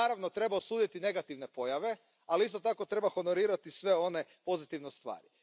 Naravno, treba osuditi negativne pojave, ali isto tako treba honorirati sve one pozitivne stvari.